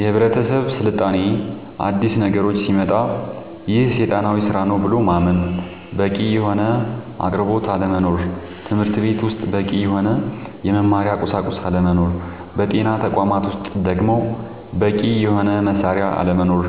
የህብረተሰብ ስልጣኔ አዲስ ነገሮች ሲመጣ ይሄ ሴጣናዊ ስራ ነው ብሎ ማመን በቂ የሆነ አቅርቦት አለመኖር ትምህርትቤት ውስጥ በቂ የሆነ የመማሪያ ቁሳቁስ አለመኖር በጤና ተቋማት ውስጥ ደሞ በቂ የሆነ መሳሪያ አለመኖር